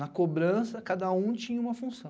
Na cobrança, cada um tinha uma função.